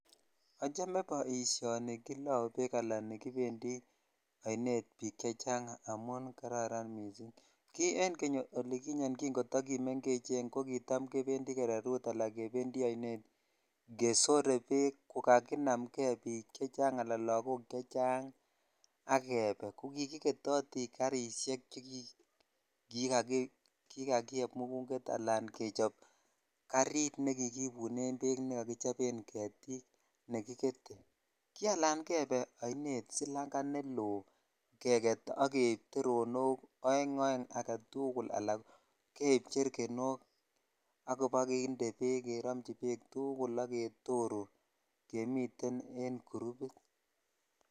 Achome boishoni nekiloo bek ala kipandi oinet bik chechang amun ki en keny olikinyen kitakimengechen ko kitam kebenfi kererut bala kebendi ainet kedore bek ko kakinam kei bik chechang ala lokok chechang a kebe ko kikiketoti karshek che kikakiyep muguget jechop garit nekikibinen be nekokichopen getik nekiketee ki alan ainet silanga ne loo keker ak keib teeonok oen oeng agetukul ala keib chekenok ak kobokinnde bek al keromchi bek tugul ak ketoruu kemiten en grupit.